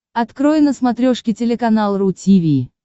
открой на смотрешке телеканал ру ти ви